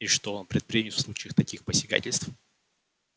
и что он предпримет в случае таких посягательств